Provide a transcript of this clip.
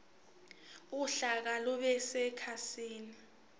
uhlaka lube sekhasini